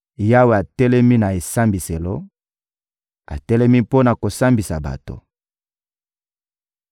Yawe atelemi na esambiselo, atelemi mpo na kosambisa bato.